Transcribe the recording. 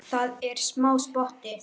Það er smá spotti.